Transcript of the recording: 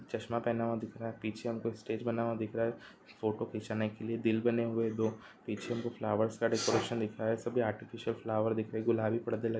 चश्मा पहना हुआ दिख रहा है पीछे हमको स्टेज बना हुआ दिख रहा है फोटो खींचाने के लिए दिल बने हुए हैं दो पीछे हमको फ्लावर्स का डेकोरेशन दिखाया है सभी आर्टिफिशियल फ्लावर दिख रहे हैं गुलाबी पर्दे लगे --